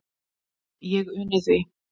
Ég uni því.